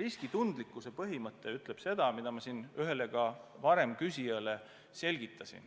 Riskitundlikkuse põhimõte seisneb selles, nagu ma ühele varem küsijale selgitasin: